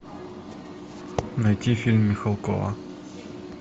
найти фильм михалкова